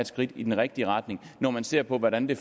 skridt i den rigtige retning når man ser på hvordan det